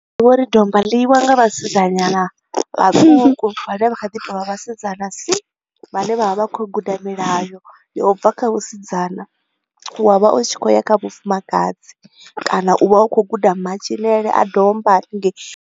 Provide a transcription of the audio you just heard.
Ndi divha uri domba ḽi nga vhasidzanyana vhatuku, vhane vha kha ḓi tou vha vhasidzana si. Vhane vha vha vha khou guda milayo ya u bva kha vhusidzana wa vha u tshi khou ya kha vhufumakadzi kana u vha u kho u guda matshilele a domba haningei.